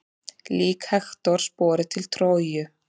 Lík Hektors borið til Tróju.